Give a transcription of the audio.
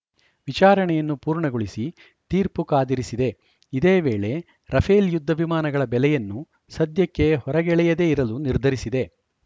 ವಿಚಾರಣೆಯನ್ನು ಪೂರ್ಣಗೊಳಿಸಿ ತೀರ್ಪು ಕಾದಿರಿಸಿದೆ ಇದೇ ವೇಳೆ ರಫೇಲ್‌ ಯುದ್ಧ ವಿಮಾನಗಳ ಬೆಲೆಯನ್ನು ಸದ್ಯಕ್ಕೆ ಹೊರಗೆಳೆಯದೇ ಇರಲು ನಿರ್ಧರಿಸಿದೆ